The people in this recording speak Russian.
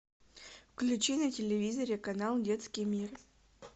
включи на телевизоре канал детский мир